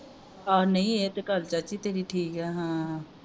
ਹਾਂ ਨਹੀਂ ਇਹ ਤੇ ਗੱਲ ਚਾਚੀ ਤੇਰੀ ਗੱਲ ਠੀਕ ਆ ਹਾਂ